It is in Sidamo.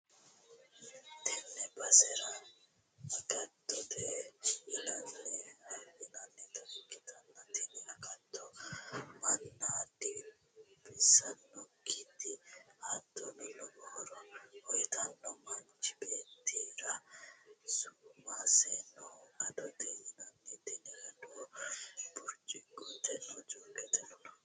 tenne basera agattote yinannita ikkitanna, tini agattono manna dinbissannokkite hattono, lowo horo uytannote manchu beettira su'maseno adote yinannite, tini adono burcuqqotenna jookete no.